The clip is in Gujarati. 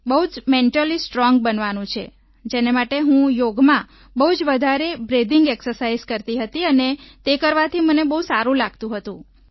બહુ જ મેન્ટલી સ્ટ્રોંગ બનવાનું છે જેને માટે હું યોગમાં બહુ જ વધારે બ્રીથિંગ એક્સરસાઇઝ કરતી હતી અને તે કરવાથી મને સારું લાગતું હતું